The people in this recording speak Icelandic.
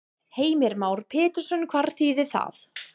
Heimir Már Pétursson: Hvað þýðir það?